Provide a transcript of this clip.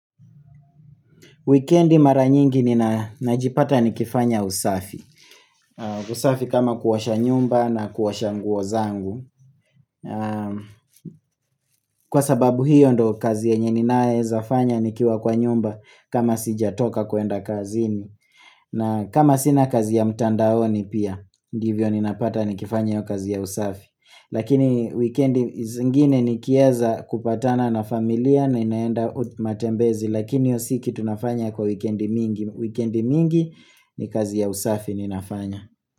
Wikendi mara nyingi nina najipata nikifanya usafi. Usafi kama kuosha nyumba na kuosha nguo zangu. Kwa sababu hiyo ndo kazi yenye ninaeza fanya nikiwa kwa nyumba kama sijatoka kuenda kazini. Na kama sina kazi ya mtandaoni pia, ndivyo ninapata nikifanya hio kazi ya usafi. Lakini wikendi zingine nikieza kupatana na familia ninaenda matembezi. Lakini hiyo si kitu nafanya kwa wikendi mingi. Wikendi mingi ni kazi ya usafi ninafanya.